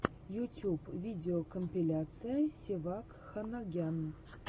ютюб видеокомпиляция севак ханагян